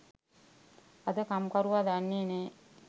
අද කම්කරුවා දන්නේ නෑ